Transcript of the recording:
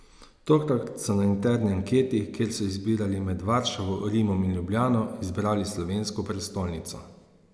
Tokrat so na interni anketi, kjer so izbirali med Varšavo, Rimom in Ljubljano, izbrali slovensko prestolnico.